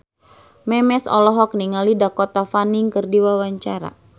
Memes olohok ningali Dakota Fanning keur diwawancara